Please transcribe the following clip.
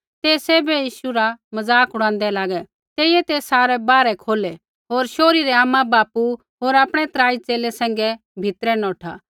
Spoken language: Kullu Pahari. ते सैभै यीशु रा मज़ाक उड़ांदै लागै तेइयै ते सारै बाहरै खोलै होर शोहरी रै आमा बापू होर आपणै त्राई च़ेले सैंघै भीतरै नौठा